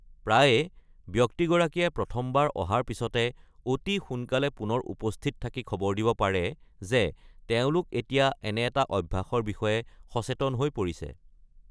প্ৰায়ে, ব্যক্তিগৰাকীয়ে প্ৰথমবাৰ অহাৰ পিছতে অতি সোনকালে পুনৰ উপস্থিত থাকি খবৰ দিব পাৰে যে তেওঁলোক এতিয়া এনে এটা অভ্যাসৰ বিষয়ে সচেতন হৈ পৰিছে।